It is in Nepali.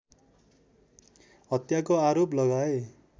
हत्याको आरोप लगाए